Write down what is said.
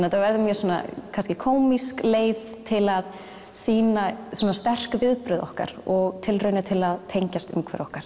þetta verður mjög svona kannski kómísk leið til að sýna svona sterk viðbrögð okkar og tilraunir til að tengjast umhverfi okkar